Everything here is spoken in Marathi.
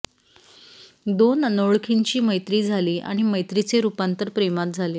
दोन अनोळखींची मैत्री झाली आणि मैत्रीचे रूपांतर प्रेमात झाले